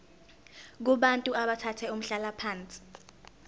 kubantu abathathe umhlalaphansi